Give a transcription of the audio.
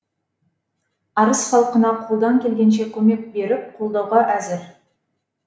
арыс халқына қолдан келгенше көмек беріп қолдауға әзір